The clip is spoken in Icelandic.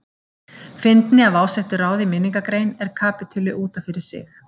Fyndni af ásettu ráði í minningargrein er kapítuli út af fyrir sig.